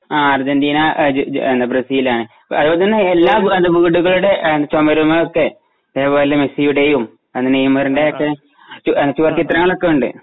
Argentina ജെ ജെ Brazil ആണ് അതുപോലെ തന്നെ എല്ലാ വീടുകളുടെ ചുമരുമൊക്കെ ഇത്‌പോലെ മെസ്സിയുടെയും നെയ്മറിന്റയൊക്കെ ചുവർ ചിത്രങ്ങളൊക്കെയുണ്ട്